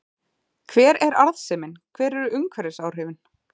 Hver er arðsemin, hver eru umhverfisáhrifin?